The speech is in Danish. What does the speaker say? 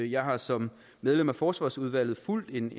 jeg har som medlem af forsvarsudvalget fulgt en